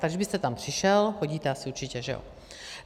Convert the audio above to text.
Tak kdybyste tam přišel - chodíte asi určitě, že jo?